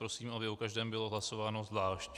Prosím, aby o každém bylo hlasování zvlášť.